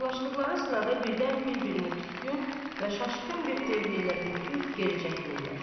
Yaxlaşdıqları sırada birdən bir-birini küskün və şaşqın bir təbərrülə ürküb geri çəkilirlər.